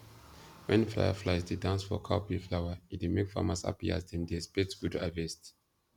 when fireflies dey dance for cowpea flower e dey make farmers happy as dem dey expect good harvest